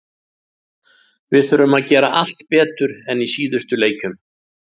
Við þurfum að gera allt betur en í síðustu leikjum.